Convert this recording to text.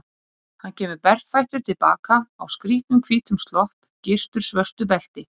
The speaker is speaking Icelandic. Hann kemur berfættur til baka, á skrýtnum hvítum slopp, gyrtur svörtu belti.